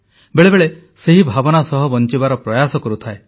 ବେଳେବେଳେ ସେହି ଭାବନା ସହ ବଞ୍ଚିବାର ପ୍ରୟାସ କରୁଥାଏ